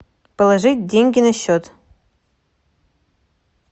положить деньги на счет